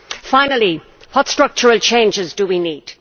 Finally, what structural changes do we need?